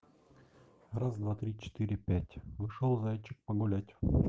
раз два три четыре пять вышел зайчик погулять